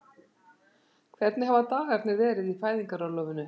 Hvernig hafa dagarnir verið í fæðingarorlofinu?